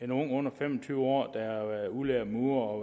en ung under fem og tyve år der er udlært murer og